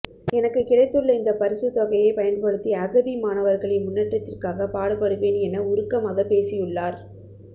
எனக்கு கிடைத்துள்ள இந்த பரிசு தொகையை பயன்படுத்தி அகதி மாணவர்களின் முன்னேற்றுத்திற்காக பாடுபடுவேன் என உருக்கமாக பேசியுள்ளார்